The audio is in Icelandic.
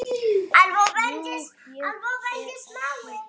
Jú, ég er að meina það.